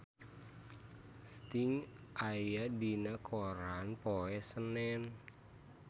Sting aya dina koran poe Senen